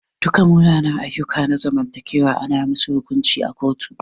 Duka munanan ayyuka na zamantakewa ana musu hukunci a kotu.